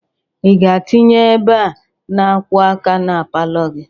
Ị ga-atinye ebe a na-akwọ aka na palọ gị?